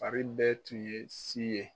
Fari bɛ tun ye si ye